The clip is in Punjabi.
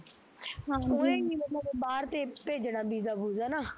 ਹਮ ਉਹਨੇ ਈ ਮਤਲਬ ਬਾਹਰ ਤੇ ਭੇਜਣਾ visa ਵੁਸਾ ਨਾ